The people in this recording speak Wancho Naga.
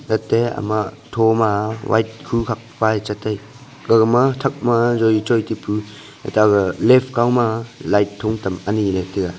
latey ama thoma white khu khakpa cha tai gaga ma thakma joli choi tapu eta aga left kauma light thung tam aniley tiga.